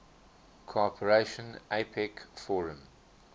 cooperation apec forum